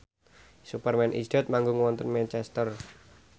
Superman is Dead manggung wonten Manchester